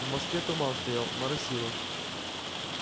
в москве туман стоял моросило